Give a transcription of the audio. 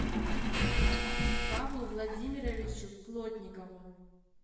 павлу владимировичу плотникову